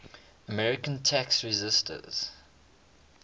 american tax resisters